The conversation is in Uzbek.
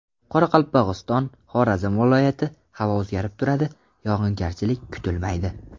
Qoraqalpog‘iston, Xorazm viloyati Havo o‘zgarib turadi, yog‘ingarchilik kutilmaydi.